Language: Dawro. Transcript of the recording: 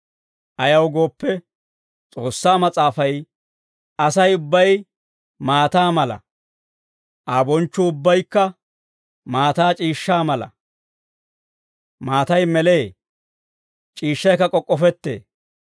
Ayaw gooppe, S'oossaa Mas'aafay, «Asay ubbay maataa mala; Aa bonchchuu ubbaykka maataa c'iishshaa mala. Maatay melee; c'iishshaykka k'ok'k'ofettee.